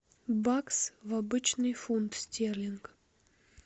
бакс в обычный фунт стерлинг